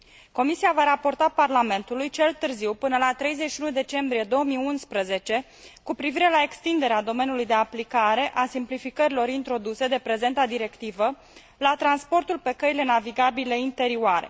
Comisia va raporta Parlamentului cel târziu până la 31 decembrie 2011 cu privire la extinderea domeniului de aplicare a simplificărilor introduse de prezenta directivă la transportul pe căile navigabile interioare.